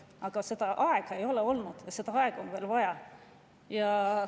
Aga aega ei ole olnud ja seda aega on veel vaja.